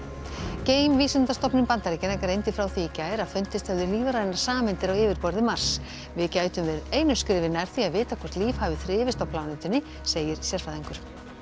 geimvísindastofnun Bandaríkjanna greindi frá því í gær að fundist hefðu lífrænar sameindir á yfirborði Mars við gætum verið einu skrefi nær því að vita hvort líf hafi þrifist á plánetunni segir sérfræðingur